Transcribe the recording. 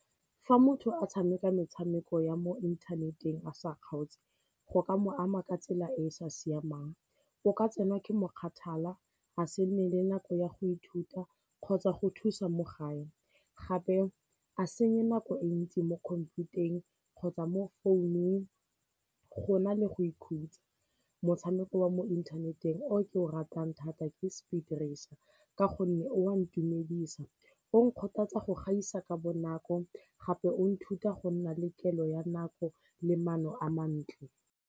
Fa motho a tshameka metshameko ya mo inthaneteng a sa kgaotse go ka mo ama ka tsela e e sa siamang, o ka tsenwa ke mokgathala a se nne le nako ya go ithuta kgotsa go thusa mo gae, gape a senye nako e ntsi mo khomphutareng kgotsa mo founung go na le go ikhutsa. Motshameko wa mo inthaneteng o ke o ratang thata ke Speed Racer ka gonne o a ntumedisa, o nkgothatsa go gaisa ka bonako gape o nthuta go nna le kelo ya nako le maano a mantle.